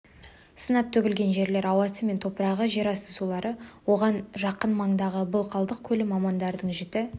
сынап төгілген жерлер ауасы мен топырағы жерасты сулары оған жақын маңдағы былқылдақ көлі мамандардың жіті